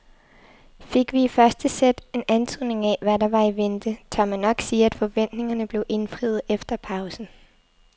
Fik vi i første sæt en antydning af hvad der var i vente, tør man nok sige at forventningerne blev indfriet efter pausen.